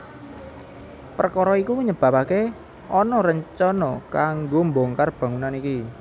Perkara iku nyebabake ana rencana kanggo mbongkar bangunan iki